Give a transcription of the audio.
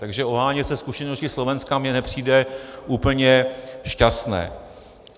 Takže ohánět se zkušeností Slovenska mně nepřijde úplně šťastné.